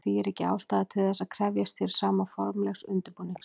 Því er ekki ástæða til þess að krefjast hér sama formlegs undirbúnings.